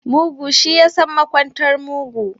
Mugu, shi ya san makwantar mugu.